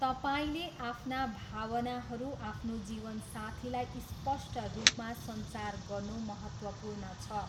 तपाईँले आफ्ना भावनाहरू आफ्नो जीवनसाथीलाई स्पष्ट रूप मा सञ्चार गर्नु महत्त्वपूर्ण छ।